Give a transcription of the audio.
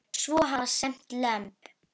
Svo hafa sést lömb.